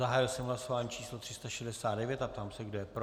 Zahájil jsem hlasování číslo 369 a ptám se, kdo je pro.